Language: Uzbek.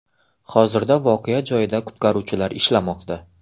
Hozirda voqea joyida qutqaruvchilar ishlamoqda.